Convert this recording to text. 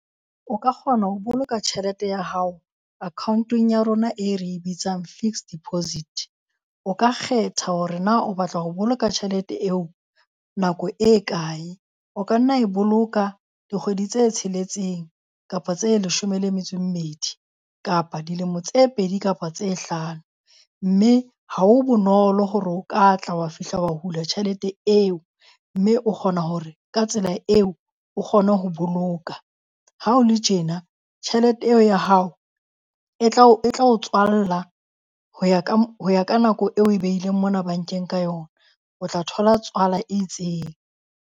O ka kgona ho boloka tjhelete ya hao account-ong ya rona e re e bitsang fixed deposit. O ka kgetha hore na o batla ho boloka tjhelete eo nako e kae. O ka nna e boloka dikgwedi tse tsheletseng kapa tse leshome le metso e mmedi, kapa dilemo tse pedi kapa tse hlano. Mme ha ho bonolo hore o ka tla wa fihla wa hula tjhelete eo. Mme o kgona hore ka tsela eo o kgone ho boloka. Ha ho le tjena, tjhelete eo ya hao e tlao e tla o tswalla ho ya ho ya ka nako eo o e beileng mona bankeng ka yona. O tla thola tswala e itseng.